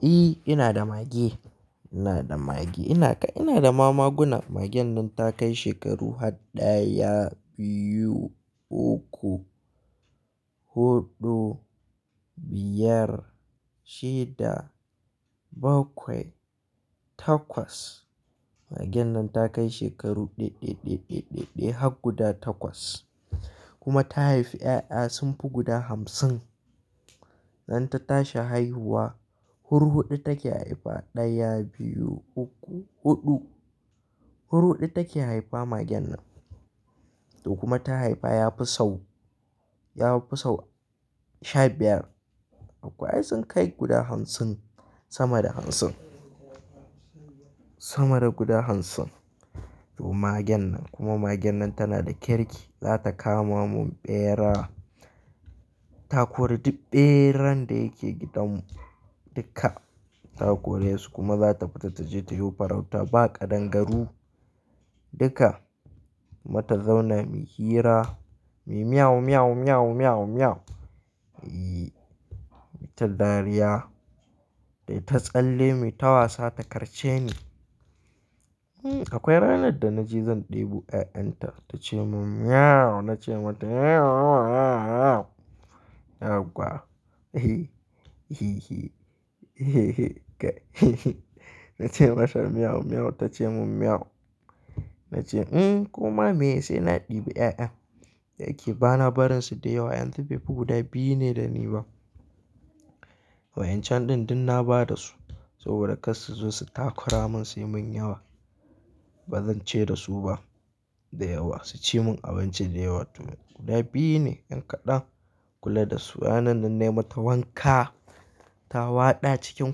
E, ina da mage. Ina da mage. Ina ga-- ina da mamaguna. Magen nan ta kai shekaru haɗaya, biyu, uku, huɗu, biyar, shida, bakwai, takwas. Magen nan ta kai shekaru ɗe, ɗe, ɗe, ɗe, ɗe, ɗe har guda takwas. Kuma ta haifi 'ya'ya sun fi guda hamsin. Idan ta tashi haihuwa, hur huɗu take haifa ɗaya, biyu, uku, huɗu. Hur huɗu take haifa magen nan. To kuma ta haifa yafi sau, yafi sau sha biyar. Akwai sun kai guda hamsin sama da hamsin. Sama da guda hamsin. To magen nan kuma magen nan tana da kirki, za ta kama mun ɓera. Takori ɗi-- ɓeran da yake gidan mu duka takora su kuma za ta fita taje tayi farauta ba kaɗangaru duka. Kuma ta zaune muyi hira, muyi "meow, meow, meow, meow, meow." E, muyi ta dariya, muyi ta tsalle muyi ta wasa ta karce ni. Hmm akwai ranar da na je zan ɗebu 'ya'yan ta, ta ce mun "meow," na ce mata yan yan yauwa na ce mata "meow, meow," ta ce mun "meow." Na ce "un kuma me sai na ɗebi 'ya'yan da yake ba na barin su da yawa. Yanzu befi guda biyu ne da ni ba. Wa'yan can ɗin duk na ba da su saboda kar su zo su takura mun sai mun yawa. Ba zan ceyar da su ba da yawa. Su ci mun abinci da yawa tun guda biyu ne yan kaɗan. Kula da su. Rana nan nai mata wanka, ta waɗa cikin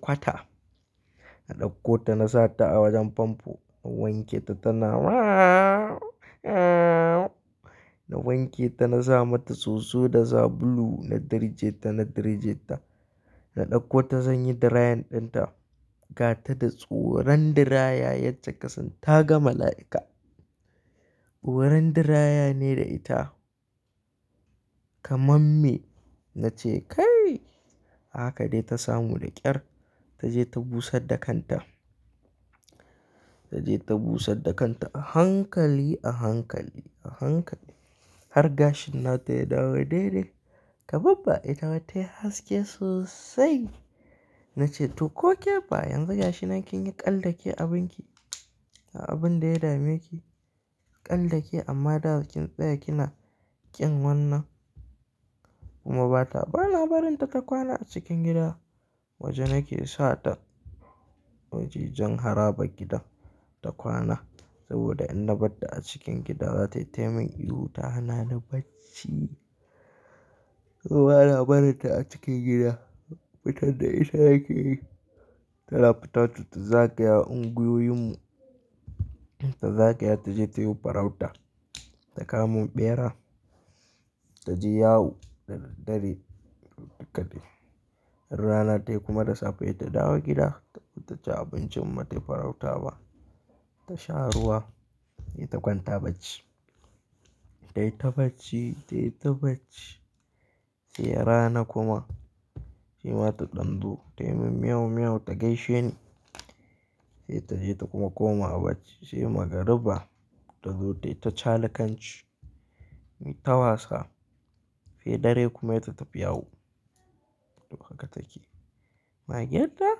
kwata. Na ɗauko ta na sa ta a wajen fanfo. Na wanke ta tana na wanke ta na sa mata soso da sabulu na dirje ta, na dirje ta. Na ɗauko ta zan yi dirayin ɗin ta. Ga ta da tsoron diraya yace kasan ta ga mala'ika. Tsoron diraya ne da ita. Kamamme. Na ce "kai!" Haka dai ta samu da ƙyar taje ta busar da kanta. Taje ta busar da kanta a hankali, a hankali, a hankali. Har gashin nata ya dawo dai-dai. Kaba ba ita tai haske sosai. Na ce "to ko ke ba yanzu gashina kin yi ƙaldake abin ki, a abin da ya dame ki ƙaldake amma da kin tsaya kina ƙin wannan." Kuma ba ta, ba na barin ta ta kwana a cikin gida. Waje nake sa ta wajajen haraba gidan ta kwana saboda in na bata cikin gida za ta yi taimin ihu ta hana ni bacci. To ba na barin ta a cikin gida. Fitar da ita nake yi. Tana fita to ta zagaya unguyoyin mu. Ta zakaya taje tayi farauta. Ta kamu ɓera, taje yawu da dadare ita kaɗai. In rana tayi kuma da safe sau ta dawo gida. Taa ta ci abincin in batai farauta ba. Ta sha ruwa he ta kwanta bacci. Tai ta bacci, tai ta bacci. Sai rana kuma shima ta dan zo Tai min "meow, meow" ta gaishe ni. Sai ta je ta kuma koma bacci. Sai magariba ta zo tai ta cala kanci. Muyi ta wasa. Sai dare kuma sai ta tafi yawu. To haka take. Mage da?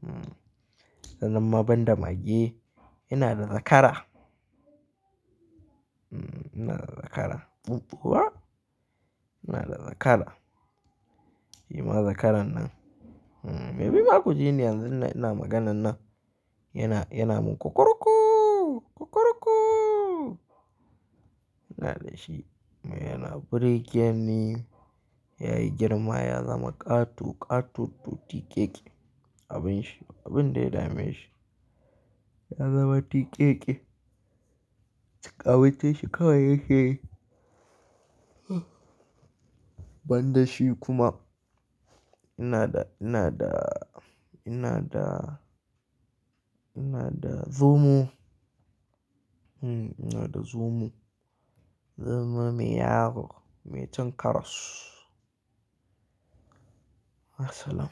Hmm. Sanan ma ban da mage. Ina da zakara. Hmm ina da zakara. Ɓuɓɓuwa. Ina da zakara. Shima zakaran nan hmm maybe maku ji ne yanzu ina maganan nan. Yana, yana mun "kukuruku, kukuruku." Ina da shi. Kuma yana burgi ne, yayi girma ya zama ƙato, ƙatottu tiƙeƙe abin shi, ba abin da ya dame shi. Ya zama tiƙeƙe. Kyau kawai yake yi. Ban da shi kuma ina da, ina da, ina da, ina da zomo. Hmm ina da zomo. Zomo mai yawo, mai cin karas. Ya salaam.